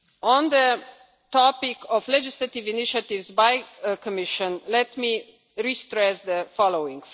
On the topic of legislative initiatives by the Commission, let me re-stress the following.